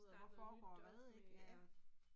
Starte noget nyt op med at